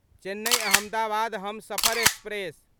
Chennai Ahmedabad Humsafar express